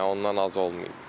Yəni ondan az olmayıb.